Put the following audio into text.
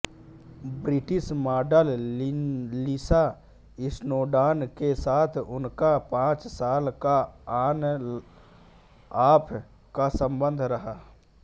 British model Lisa Snowdon के साथ उनका पांच साल का ऑनऑफ़ का संबंध रहा था